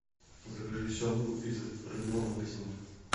закажи семгу из рыбного магазина